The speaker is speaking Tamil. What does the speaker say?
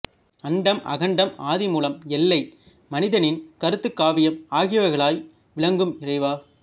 அண்டம் அகண்டம் ஆதிமூலம் எல்லை மனிதனின் கருத்து காவியம் ஆகிவைகளாய் விளங்கும் இறைவா